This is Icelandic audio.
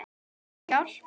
Smá hjálp.